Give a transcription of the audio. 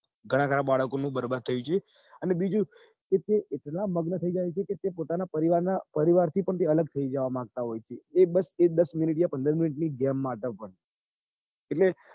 ઘણાં ખરા બાળકો નું બરબાદ થઇ ગયું અને બીજું કે તે એટલા મગ્ન થઇ જાય છે કે તે પોતાના પરિવાર ના પરિવારથી પણ અલગ થઇ જવા માંગતા હોય છે એ બસ દસ minute યા પંદર minute ની game માટે હોય